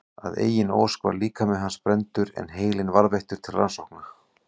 Að eigin ósk var líkami hans brenndur en heilinn varðveittur til rannsókna.